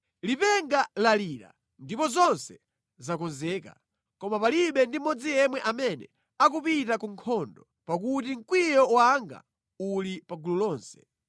“Lipenga lalira, ndipo zonse zakonzeka. Koma palibe ndi mmodzi yemwe amene akupita ku nkhondo, pakuti mkwiyo wanga uli pa gulu lonse.